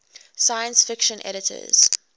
science fiction editors